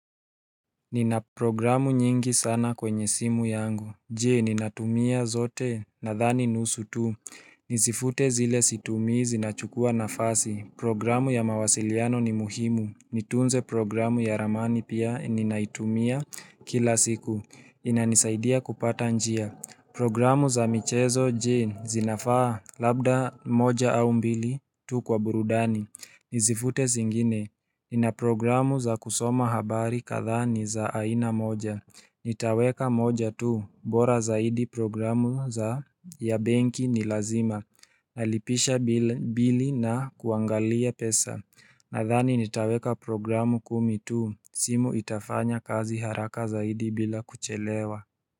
Nina programu nyingi sana kwenye simu yangu Jee ninatumia zote nadhani nusu tu Nizifute zile situmii zinachukua nafasi Programu ya mawasiliano ni muhimu Nitunze programu ya ramani pia ninaitumia kila siku inanisaidia kupata njia Programu za michezo jee zinafaa labda moja au mbili tu kwa burudani Nizifute zingine Nina programu za kusoma habari kadhaa ni za aina moja Nitaweka moja tu bora zaidi programu za ya benki ni lazima Nalipisha bili na kuangalia pesa Nadhani nitaweka programu kumi tu simu itafanya kazi haraka zaidi bila kuchelewa.